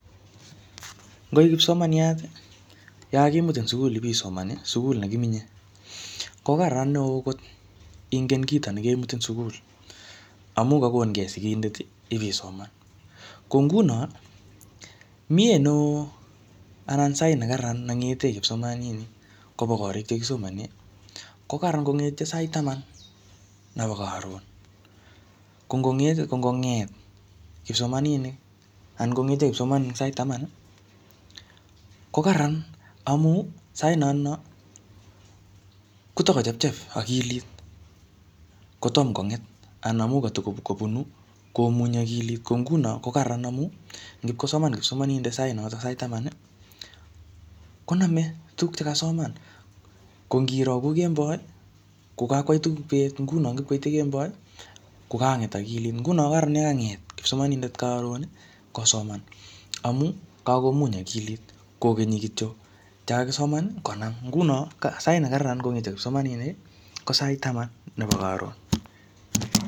Ngoi kipsomaniat, ye kakakimutin sukul ipisoman, sukul ne kimenye, ko karraran neo kot ingen kito nekemutin sukul, amu kakonkey sigindet ibisoman. Ko nguno, miee neoo anan sait ne kararan ne ng'ete kipsomaninik koba korik che kisomane, ko kararan kongete sait taman nebo karon. Ko ngong'et, ko ngong'et kipsomaninik, anan kong'ete kipsomaninik sait taman, ko kararan amu sait notono, kotikochepchep akilit, kotom kong'et. Anan amu katikobunu komunyi akilit. Ko nguno ko kararan amu ngipkosoman kipsomanindet sait notok, sait taman, koname tuguk che kasoman. Ko ngiro ko kemboi, ko kakwai tuguk beet. Nguno ngipkoite kemboi, ko kakonget akilit. Nguno ko kararan yekanget kipsomanindet karon kosoman, amu, kakomuny akilit kokenyi kityo che kakisoman konam. Nguno sait ne kararan kongetyo kipsomaninik, ko sait taman nebo karon.